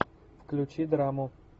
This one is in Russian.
включи драму